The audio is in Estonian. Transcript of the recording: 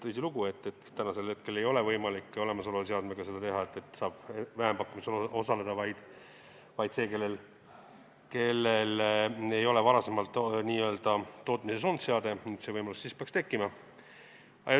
Tõsilugu, täna ei ole võimalik olemasoleva seadmega vähempakkumisel osaleda, sellel, kellel ei ole varem seade n-ö tootmises olnud, nüüd see võimalus peaks tekkima.